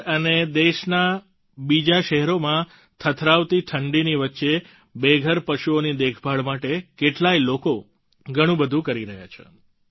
દિલ્હીએનસીઆર અને દેશના બીજા શહેરોમાં થથરાવતી ઠંડીની વચ્ચે બેઘર પશુઓની દેખભાળ માટે કેટલાય લોકો ઘણું બધું કરી રહ્યા છે